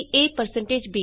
ab modules easy